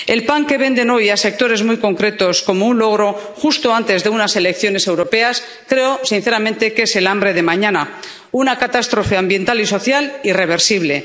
El pan que venden hoy a sectores muy concretos como un logro, justo antes de unas elecciones europeas, creo sinceramente que es el hambre de mañana una catástrofe ambiental y social irreversible.